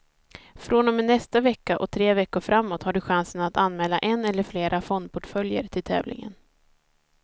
Från och med nästa vecka och tre veckor framåt har du chansen att anmäla en eller flera fondportföljer till tävlingen.